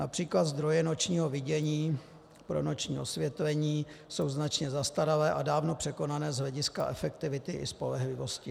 Například zdroje nočního vidění pro noční osvětlení jsou značně zastaralé a dávno překonané z hlediska efektivity i spolehlivosti.